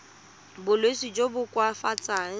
ka bolwetsi jo bo koafatsang